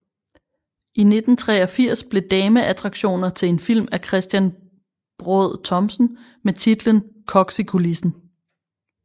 I 1983 blev Dameattraktioner til en film af Christian Braad Thomsen med titlen Koks i kulissen